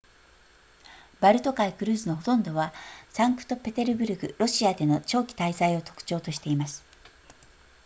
バルト海クルーズのほとんどはサンクトペテルブルクロシアでの長期滞在を特徴としています